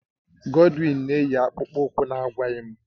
Godwin na-eyi akpụkpọ ụkwụ na-agwaghị m